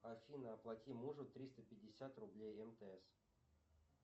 афина оплати мужу триста пятьдесят рублей мтс